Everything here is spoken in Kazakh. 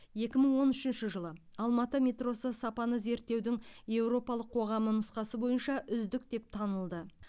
екі мың он үшінші жылы алматы метросы сапаны зерттеудің еуропалық қоғамы нұсқасы бойынша үздік деп танылды